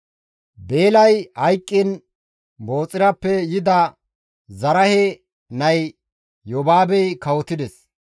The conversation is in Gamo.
Beelay hayqqiin Booxirappe yida Zaraahe nay Yobaabey kawotides.